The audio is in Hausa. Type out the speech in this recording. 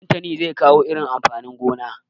Ɗantani zai kawo irin amfanin gonan.